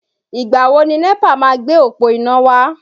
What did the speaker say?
Ìgbà wo ni NEPA máa gbé òpó iná wá?